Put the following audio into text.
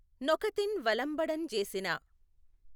న్నొకతిన్ వలఁబడఁ జేసిన